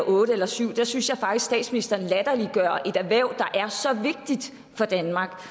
otte eller syv for der synes jeg faktisk statsministeren latterliggør et erhverv der er så vigtigt for danmark